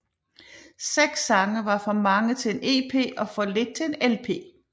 Seks sange var for mange til en EP og for lidt til en LP